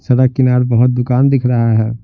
सड़क किनार बहुत दुकान दिख रहा है।